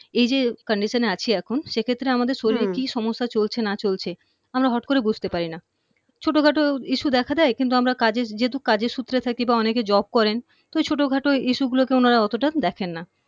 এই যে condition এ আছি এখন সেক্ষেত্রে আমাদের শরীরে হম কি সমস্যা চলছে না চলছে আমরা হঠাৎ করে বুঝতে পারি না ছোট খাটো issue দেখা দেয় কিন্তু আমরা কাজের যেহেতু কাজের সূত্রে থাকি বা অনেকে job করেন তো ঐ ছোট খাটো issue গুলোকে উনারা অতটা দেখে না